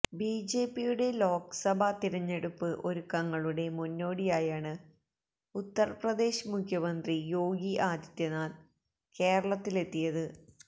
ബിജെപിയുടെ ലോക്സഭാ തിരഞ്ഞെടുപ്പ് ഒരുക്കങ്ങളുടെ മുന്നോടിയായാണ് ഉത്തര് പ്രദേശ് മുഖ്യമന്ത്രി യോഗി ആദിത്യനാഥ് കേരളത്തിലെത്തിയത്